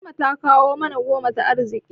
Fatima ta kawo mana goma ta arziƙi.